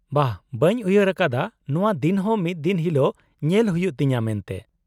-ᱵᱟᱦ ! ᱵᱟᱹᱧ ᱩᱭᱦᱟᱹᱨ ᱟᱠᱫᱟ ᱱᱚᱶᱟ ᱫᱤᱱᱦᱚᱸ ᱢᱤᱫ ᱫᱤᱱ ᱦᱤᱞᱳᱜ ᱧᱮᱞ ᱦᱩᱭᱩᱜ ᱛᱤᱧᱟᱹ ᱢᱮᱱᱛᱮ ᱾